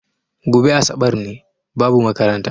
Goɓe asaɓar ne, babu maƙaranta.